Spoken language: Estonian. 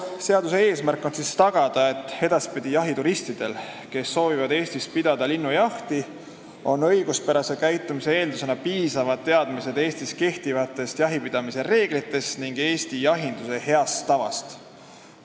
Seaduse eesmärk on tagada, et edaspidi oleksid jahituristidel, kes soovivad Eestis pidada linnujahti, õiguspärase käitumise eeldusena piisavad teadmised Eestis kehtivatest jahipidamise reeglitest ning Eesti jahinduse heast tavast.